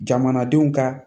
Jamanadenw ka